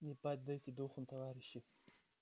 не падайте духом товарищи